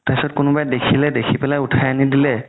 তাৰ পিছত কোনোবাই দেখিলে দেখি কিনে উথাই আনি দিলে